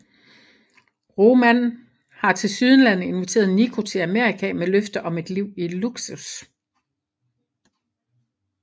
Roman har tilsyneladende inviteret Niko til Amerika med løfter om et liv i luksus